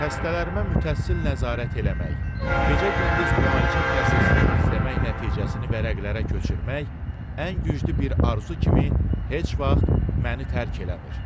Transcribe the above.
Xəstələrimə mütəssil nəzarət eləmək, gecə-gündüz müalicə prosesini izləmək, nəticəsini vərəqlərə köçürmək ən güclü bir arzu kimi heç vaxt məni tərk eləmir.